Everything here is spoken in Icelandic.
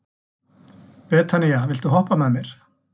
Betanía, viltu hoppa með mér?